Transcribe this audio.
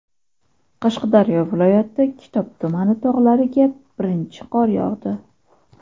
Qashqadaryo viloyati Kitob tumani tog‘lariga birinchi qor yog‘di.